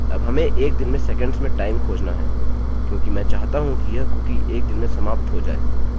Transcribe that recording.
अब हमें एक दिन में सेकंड्स में टाइम खोजना है क्योंकि मैं चाहता हूँ कि यह कुकी एक दिन में समाप्त हो जाए